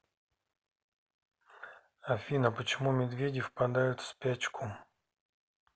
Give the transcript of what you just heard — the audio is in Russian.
афина почему медведи впадают в спячку